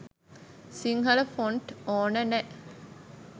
Sinhala font ඕන නෑ.